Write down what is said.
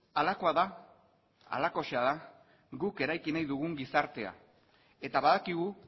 halakoa da halakoxea da guk eraiki nahi dugun gizartea eta badakigu